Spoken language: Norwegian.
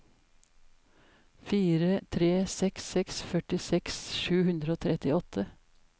fire tre seks seks førtiseks sju hundre og trettiåtte